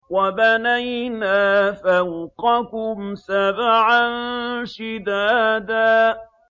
وَبَنَيْنَا فَوْقَكُمْ سَبْعًا شِدَادًا